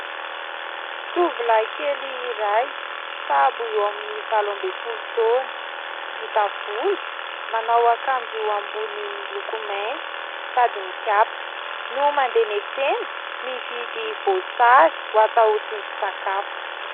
Tovolahy kely iray sahabo eo amin'ny valo ambin'ny folo toana. Ngita volo, manao akanjo ambony miloko mainty sady mikapa, no mandeha miantsena mividy voasary ho atao tsindrin-tsakafo.